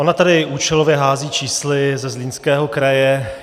Ona tady účelově hází čísly ze Zlínského kraje.